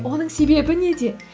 оның себебі неде